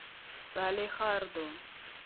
салехарду